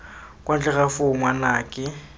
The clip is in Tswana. kwa ntle ga foo ngwanake